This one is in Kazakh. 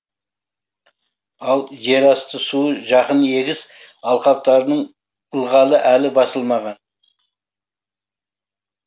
ал жерасты суы жақын егіс алқаптарының ылғалы әлі басылмаған